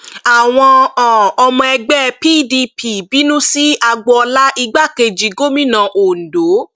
àwọn um ọmọ ẹgbẹ pdp bínú sí agboola igbákejì gómìnà ondo